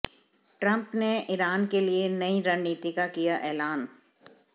Trump ने Iran के लिये नयी रणनीति का किया ऐलान